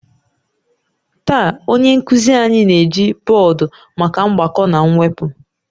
Taa, onye nkuzi anyị na-eji bọọdụ maka mgbakọ na mwepụ